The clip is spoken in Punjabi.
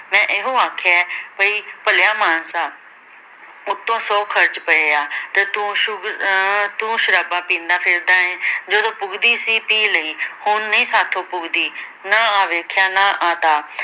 ਮੈਂ ਇਹੋ ਆਖਿਆ ਏ ਬਈ ਭਲਿਆ ਮਾਨਸਾ ਉੱਤੋਂ ਸੌ ਖਰਚ ਪਏ ਆ ਤੇ ਤੂੰ ਸ਼ੁਬ ਅਹ ਤੂੰ ਸ਼ਰਾਬਾਂ ਪੀਨਾ ਫਿਰਦਾ ਏ ਜਦੋਂ ਪੁੱਗਦੀ ਸੀ ਪੀ ਲਈ ਹੁਣ ਨਈ ਸਾਥੋਂ ਪੁੱਗਦੀ ਨਾ ਆ ਵੇਖਿਆ ਨਾਂ ਆ ਤਾਂ